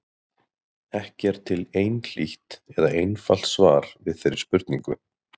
Ekki er til einhlítt eða einfalt svar við þeirri spurningu.